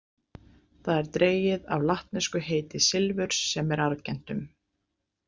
Það er dregið af latnesku heiti silfurs sem er Argentum.